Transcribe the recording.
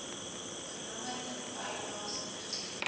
genommerde bylaes ingedien